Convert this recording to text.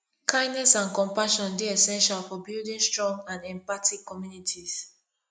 kindness and compassion dey essential for building strong and empathetic communities